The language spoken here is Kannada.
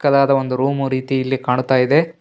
ಚಿಕ್ಕದಾದ ಒಂದು ರೂಮು ರೀತಿ ಇಲ್ಲಿ ಕಾಣ್ತಾಯಿದೆ.